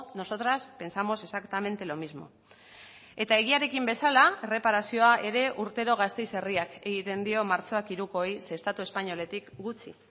nosotras pensamos exactamente lo mismo eta egiarekin bezala erreparazioa ere urtero gasteiz herriak egiten dio martxoak hirukoei ze estatu espainoletik gutxi